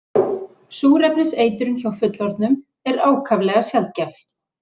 Súrefniseitrun hjá fullorðnum er ákaflega sjaldgæf.